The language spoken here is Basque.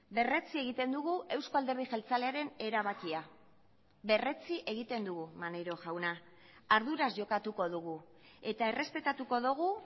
berretsi egiten dugu euzko alderdi jeltzalearen erabakia berretsi egiten dugu maneiro jauna arduraz jokatuko dugu eta errespetatuko dugu